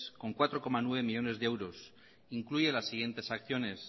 con cuatro coma nueve millónes de euros incluye las siguientes acciones